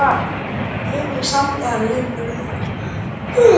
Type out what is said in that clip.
Einnig samdi hann limru